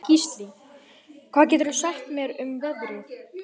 Gíslný, hvað geturðu sagt mér um veðrið?